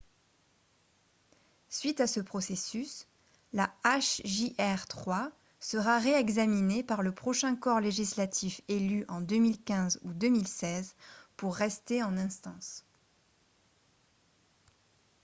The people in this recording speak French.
suite à ce processus la hjr-3 sera réexaminée par le prochain corps législatif élu en 2015 ou 2016 pour rester en instance